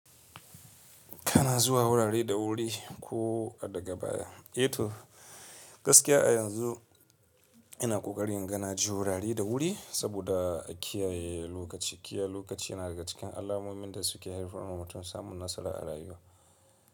Kana zuwa wurare da wuri ko daga baya. E to, gaskiya a yanzu ina ƙoƙarin gana ji wurare da wuri saboda kiyaye lokaci. Kiyaye lokaci yana daga cikin alamomin da suke haifarwa mutum samun nasara a rayuwa.